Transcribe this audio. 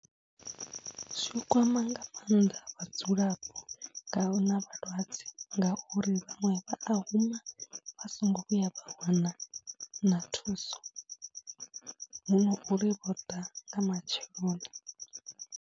Zwo kwama nga mannḓa vhadzulapo nga a hu na vhalwadze ngauri vhaṅwe vha a huma vha songo vhuya vha wana na thuso, hu no uri vho ḓa nga matsheloni.